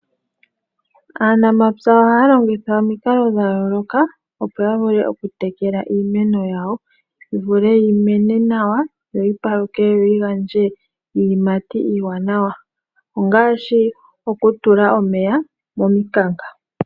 Aanamapya ohaya longitha omikalo dhayooloka opo yavule okutekela iimeno yawo, yivule yimene nawa, yo yipaluke, yo yigandje iiyimati iiwanawa ngaashi okutula omeya momikanka.